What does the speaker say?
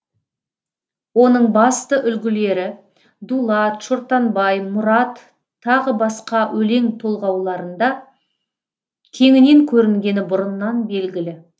оның басты үлгілері дулат шортанбай мұрат тағы басқа өлең толғауларында кеңінен көрінгені бұрыннан белгілі